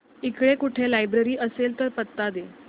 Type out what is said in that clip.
इकडे कुठे लायब्रेरी असेल तर पत्ता दे